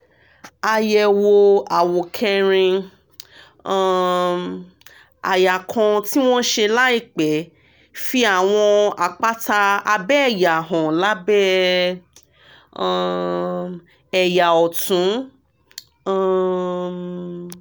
àyẹ̀wò àwòkẹ́rin um àyà kan tí wọ́n ṣe láìpẹ́ fi àwọn àpáta abẹ́ẹ̀yà hàn lábẹ́ um ẹ̀yà ọ̀tún um